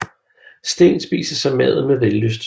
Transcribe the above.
Steen spiser så maden med vellyst